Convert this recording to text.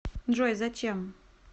джой зачем